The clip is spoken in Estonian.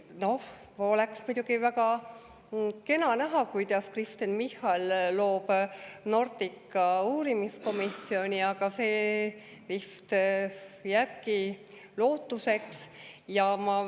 Noh, oleks muidugi väga kena näha, kuidas Kristen Michal loob Nordica uurimiskomisjoni, aga see vist jääbki lootuseks.